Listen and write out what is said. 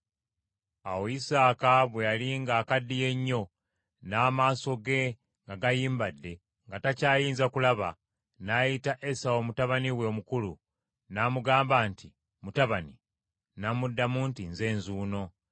Awo Isaaka bwe yali ng’akaddiye nnyo n’amaaso ge nga gayimbadde, nga takyayinza kulaba, n’ayita Esawu mutabani we omukulu, n’amugamba nti, “Mutabani,” n’amuddamu nti, “Nze nzuuno.”